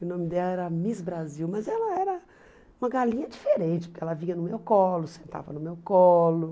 O nome dela era Miss Brasil, mas ela era uma galinha diferente, porque ela vinha no meu colo, sentava no meu colo.